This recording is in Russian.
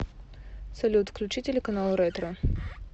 салют включи телеканал ретро